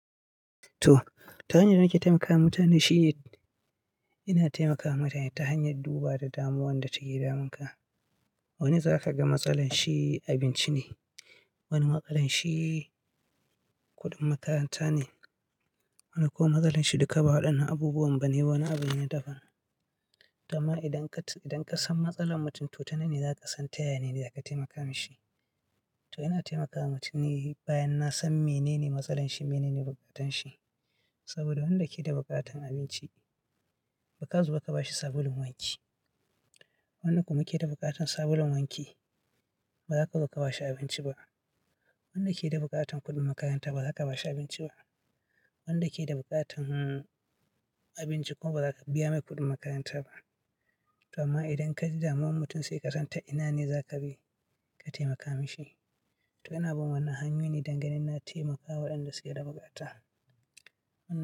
To, ta hanyar da nake taimakawa mutane shi ina taimakawa mutane ta hanyar duba da damuwan da take damun ka. Wani zaka ga matsalar shi abinci ne, wani matsalar shi kuɗin makaranta ne, wani kuma matsalar shi duka ba waɗannan abubuwan ba ne, wani abin ne na daban. To amma idan ka san matsalar mutum to ta nanne zaka san ta ya ya ne ne za ka taimaka mishi. To ina taimakawa mutum ne bayan na san menene matsalar shi, menene bukatar shi. Saboda wanda yake da buƙatar abinci ba ka zo ka ba shi sabulun wanki. Wanda kuma yake da buƙatar sabulun wanki, ba za ka zo ka bashi abinci ba. Wanda yake da buƙatar kuɗin makaranta ba za ka bashi abinci ba. Wanda yake da buƙatar abinci kuma ba za ka biya mai kuɗin makaranta ba. To amma idan ka ji damuwan mutum sai ka san ta ina ne za ka bi ka taimaka mishi. To ina bin wannan hanyoyi ne dangane na taimakawa waɗanda suke da buƙata.